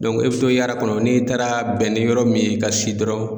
i bɛ to yaara kɔnɔ, n'i taara bɛn ni yɔrɔ min ye ka si dɔrɔn.